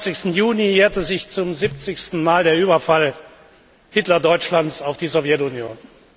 22. Juni jährte sich zum 70. Mal der Überfall Hitler Deutschlands auf die Sowjetunion.